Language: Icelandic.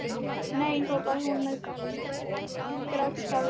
Nei hrópaði hún með grátstafinn í kverkunum.